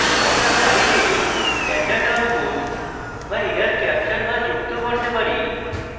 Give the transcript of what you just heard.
আমরা file standard output বা error capture বা যুক্ত করতে পারি